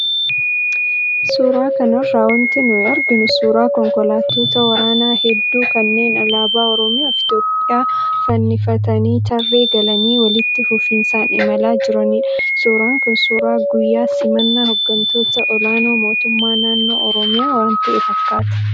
Suuraa kanarraa wanti nuyi arginu suuraa konkolaattota waraanaa hedduu kanneen alaabaa Oromiyaa fi Itoophiyaa fannifatanii, tarree galanii walitti fufinsaan imalaa jiranidha. Suuraan kun suuraa guyyaa simannaa hooggantoota olaanoo mootummaa naannoo Oromiyaa waan ka'e fakkaata.